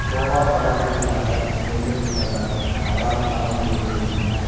கோவா படப்பிடிப்பிற்காக சென்று விட்டதால் தான் அவரால் வர முடியவில்லை என